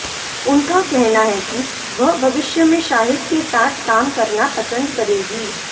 उनका कहना है कि वह भविष्य में शाहिद के साथ काम करना पसंद करेंगी